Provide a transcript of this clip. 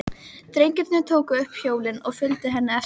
Drengirnir tóku upp hjólin og fylgdu henni eftir.